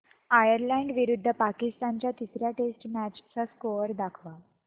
Ireland विरुद्ध पाकिस्तान च्या तिसर्या टेस्ट मॅच चा स्कोअर दाखवा